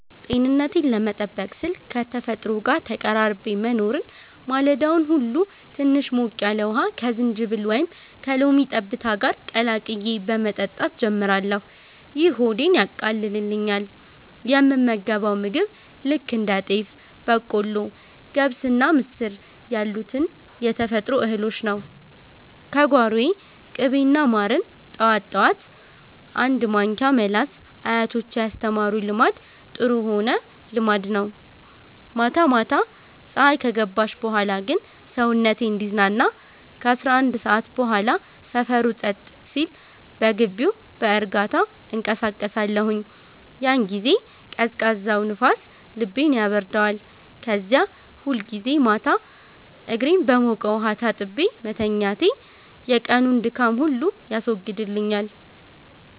ጤንነቴን ለመጠበቅ ስል ከተፈጥሮ ጋር ተቀራርቤ መኖርን። ማለዳውን ሁሉ ትንሽ ሞቅ ያለ ውሃ ከዝንጅብል ወይም ከሎሚ ጠብታ ጋር ቀላቅዬ በመጠጣት ጀምራለሁ፤ ይህ ሆዴን ያቃልልኛል። የምመገበው ምግብ ልክ እንደ ጤፍ፣ በቆሎ፣ ገብስና ምስር ያሉትን የተፈጥሮ እህሎች ነው፤ ከጓሮዬ። ቅቤና ማርን ጠዋት ጠዋት አንድ ማንኪያ መላስ አያቶቼ ያስተማሩኝ ልማድ ጥሩ ሆነ ልማድ ነው። ማታ ማታ ፀሀይ ከገባች በኋላ ግን ሰውነቴ እንዲዝናና ከ11 ሰዓት በኋላ ሰፈሩ ጸጥ ሲል በግቢው በእርጋታ እንቀሳቀሳለሁኝ። ያን ጊዜ ቀዝቃዛው ንፋስ ልቤን ያበርደዋል። ከዚያ ሁልጊዜ ማታ እግሬን በሞቀ ውሃ ታጥቤ መተኛቴ የቀኑን ድካም ሁሉ ያስወግድልኛል።